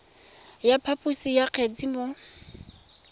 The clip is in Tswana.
ya phaposo ya kgetse mo